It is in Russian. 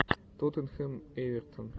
тоттенхэм эвертон